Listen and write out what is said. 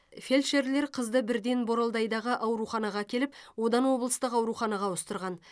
фельдшерлер қызды бірден боралдайдағы ауруханаға әкеліп одан облыстық ауруханаға ауыстырған